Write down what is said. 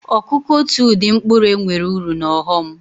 Ọkụ́kụ́ otu ụdị mkpụrụ enweere uru na ọghọm.